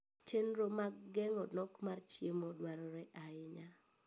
Chenro mag geng'o nok mar chiemo dwarore ahinya.